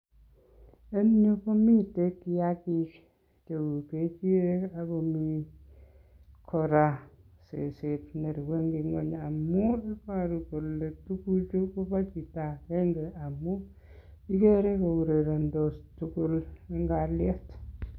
En iyeuu komiten kiakik cheu ng'echirek ak komii kora seset nerue en ngweny amun iboru kolee tukuchu kobo chito akeng'e amun ikere ko urerendos tukul en kaliet.